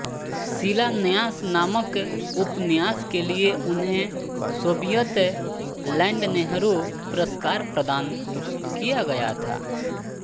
शिलान्यास नामक उपन्यास के लिए उन्हें सोवियत लैंड नेहरू पुरस्कार प्रदान किया गया था